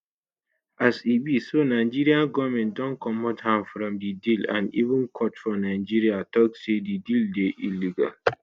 as e be so nigeria goment don comot hand from di deal and even court for nigeria tok say di deal dey illegal.